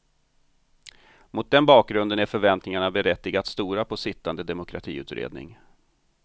Mot den bakgrunden är förväntningarna berättigat stora på sittande demokratiutredning.